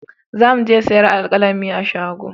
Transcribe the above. Za mu je sayan alkalami a shago